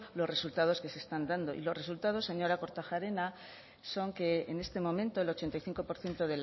los resultados que se están dando y los resultados señora kortajarena son que en este momento el ochenta y cinco por ciento